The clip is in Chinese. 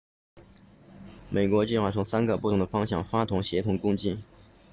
美国计划从三个不同的方向发动协同攻击